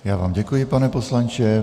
Já vám děkuji, pane poslanče.